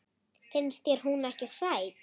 Finnst þér hún ekki sæt?